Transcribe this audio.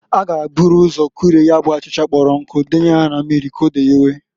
A ga eburu ụzọ kurie ya bụ achịcha kpọrọ nkụ denye ya na mmiri k'o deyewe.